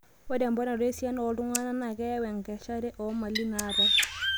Ore eponaroto esiana oo ltung'ana naa keyau enkeshare oo mali naatae